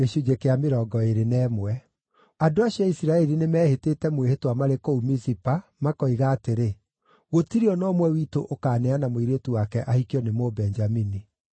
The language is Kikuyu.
Andũ acio a Isiraeli nĩmehĩtĩte mwĩhĩtwa marĩ kũu Mizipa makoiga atĩrĩ, “Gũtirĩ o na ũmwe witũ ũkaaneana mũirĩtu wake ahikio nĩ Mũbenjamini.”